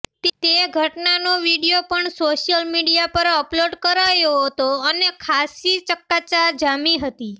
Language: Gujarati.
તે ઘટનાનો વીડિયો પણ સોશિયલ મીડિયા પર અપલોડ કરાયો હતો અને ખાસ્સી ચકચાર જામી હતી